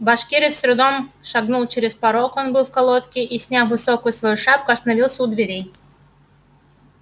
башкирец с трудом шагнул через порог он был в колодке и сняв высокую свою шапку остановился у дверей